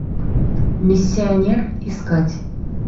миссионер искать